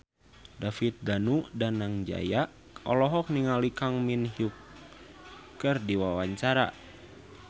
David Danu Danangjaya olohok ningali Kang Min Hyuk keur diwawancara